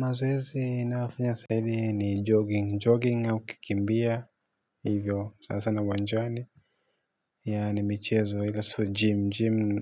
Mazoezi ninayofanya saa hizi ni jogging. Jogging au kukimbia. Hivyo sana sana uwanjani. Yaani michezo ila sio gym. Gym.